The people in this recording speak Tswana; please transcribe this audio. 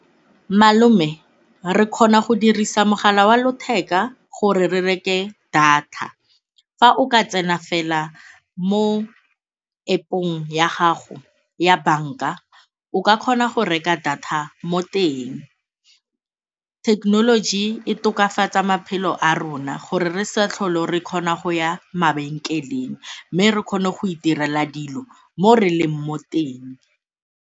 Malome, re kgona go dirisa mogala wa letheka gore re reke data. Fa o ka tsena fela mo App-ong ya gago ya banka o ka kgona gore reka data mo teng. Thekenoloji e tokafatsaa maphelo a rona gore re sa tlhole re kgona go ya mabenkeleng mme re kgone go itirela dilo mo re leng mo teng.